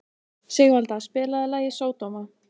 Sigvalda, spilaðu lagið „Sódóma“.